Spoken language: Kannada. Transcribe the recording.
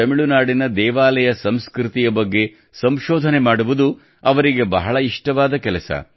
ತಮಿಳುನಾಡಿನ ದೇವಾಲಯ ಸಂಸ್ಕೃತಿಯ ಬಗ್ಗೆ ಸಂಶೋಧನೆ ಮಾಡುವುದು ಅವರಿಗೆ ಬಹಳ ಇಷ್ಟವಾದ ಕೆಲಸ